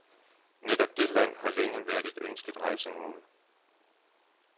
Netop det land har længe været et ønsket rejsemål